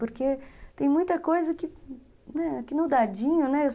Porque tem muita coisa que, né, no dadinho, né? eu sou